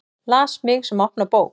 Las mig sem opna bók.